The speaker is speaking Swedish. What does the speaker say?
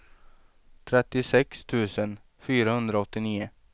trettiosex tusen fyrahundraåttionio